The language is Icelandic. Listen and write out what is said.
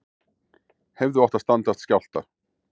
Hefðu átt að standast skjálfta